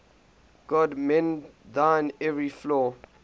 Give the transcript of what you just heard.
god mend thine every flaw